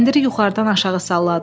Kəndiri yuxarıdan aşağı salladılar.